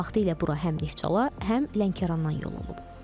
Vaxtilə bura həm Neftçala, həm Lənkərandan yolunub.